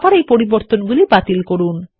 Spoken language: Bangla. আবার এই পরিবর্তনগুলি বাতিল করুন